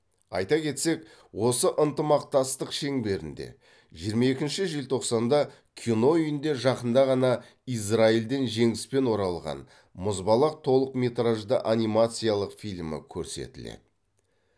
айта кетсек осы ынтымақтастық шеңберінде жиырма екінші желтоқсанда кино үйінде жақында ғана израильден жеңіспен оралған мұзбалақ толықметражды анимациялық фильмі көрсетіледі